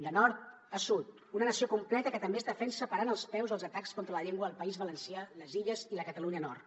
de nord a sud una nació completa que també es defensa parant els peus als atacs contra la llengua al país valencià les illes i la catalunya nord